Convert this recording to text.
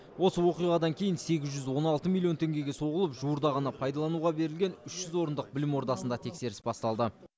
осы оқиғадан кейін сегіз жүз он алты миллион теңгеге соғылып жуырда ғана пайдалануға берілген үш жүз орындық білім ордасында тексеріс басталды